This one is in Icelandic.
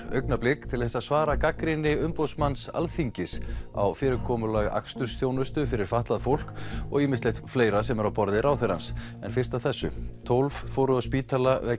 augnablik til þess að svara gagnrýni umboðsmanns Alþingis á fyrirkomulag akstursþjónustu fyrir fatlað fólk og ýmislegt fleira sem er á borði ráðherrans en fyrst að þessu tólf fóru á spítala